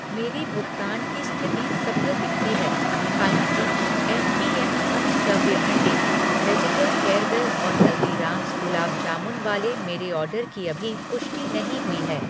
मेरी भुगतान की स्थिति सफल दिखती है, हालाँकि एम पी एम पंचकव्य अंडे, वेजिटल हेयरवेल और हल्दीरामज़ गुलाब जामुन वाले मेरे ऑर्डर की अभी पुष्टि नहीं हुई है।